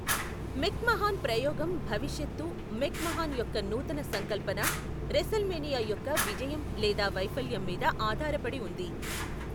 మెక్ మహాన్ ప్రయోగం భవిష్యత్తు, మెక్ మహాన్ యొక్క నూతన సంకల్పన, రెసల్మేనియా యొక్క విజయం లేదా వైఫల్యం మీద ఆధారపడి వుంది.